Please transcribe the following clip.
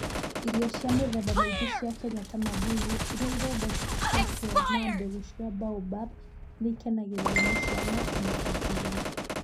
Irio cia mĩthemba mĩingĩ cia Kenya ta mabuyu, iria ithondeketwo na mbegũ cia baobab, nĩ ikenagio nĩ ciana o na andũ agima.